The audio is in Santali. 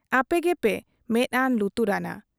ᱟᱯᱮ ᱜᱮᱯᱮ ᱢᱮᱫ ᱟᱱᱟ ᱞᱩᱛᱩᱨᱟᱱᱟ ᱾